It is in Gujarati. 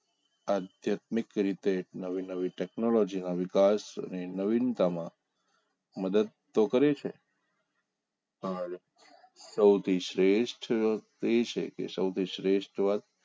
આધ્યાત્મિક રીતે નવી નવી ટેકનોલોજીના વિકાસ અને નવીનતા માં મદદ તો કરે છે પણ સૌથી શ્રેષ્ઠ એ છે કે સૌથી શ્રેષ્ઠ વાત